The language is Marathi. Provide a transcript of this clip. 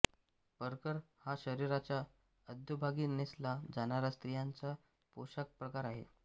परकर हा शरीराच्या अधोभागी नेसला जाणारा स्त्रियांचा पोशाखप्रकार आहे